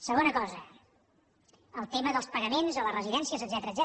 segona cosa el tema dels pagaments a les residències etcètera